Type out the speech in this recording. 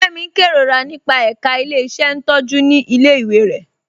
Kẹmi n kẹrorà nípa ẹká ilẹ̀-iṣẹ́ ntọjú ni ilẹ̀-iwé rẹ.